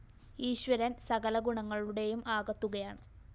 ഈശ്വരന്‍ സകല ഗുണങ്ങളുടെയും ആകത്തുകയാണ്